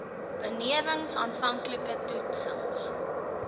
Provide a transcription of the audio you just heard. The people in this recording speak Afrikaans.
benewens aanvanklike toetsings